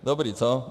Dobrý, co?